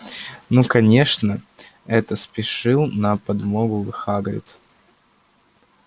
ну конечно это спешил на подмогу хагрид